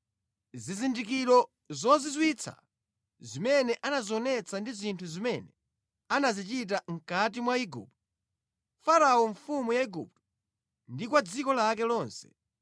zizindikiro zozizwitsa zimene anazionetsa ndi zinthu zimene anazichita mʼkati mwa Igupto, Farao mfumu ya Igupto ndi kwa dziko lake lonse;